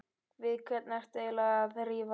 Við hvern ertu eiginlega að rífast?